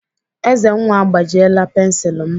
Ezenwa agbajiela pensilu m.